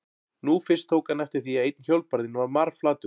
Nú fyrst tók hann eftir því að einn hjólbarðinn var marflatur.